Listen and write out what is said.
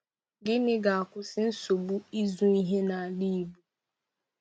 Gịnị ga-akwụsị nsogbu ịzụ ehi n'ala Igbo?